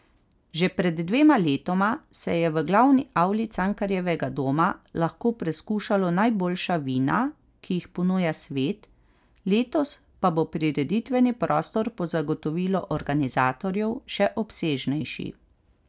Že pred dvema letoma se je v glavni avli Cankarjevega doma lahko preskušalo najboljša vina, ki jih ponuja svet, letos pa bo prireditveni prostor po zagotovilu organizatorjev še obsežnejši.